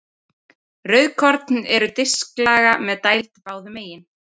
Rauðkorn eru disklaga með dæld báðum megin.